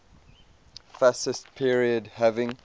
fascist period having